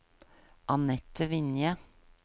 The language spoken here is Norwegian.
Annette Vinje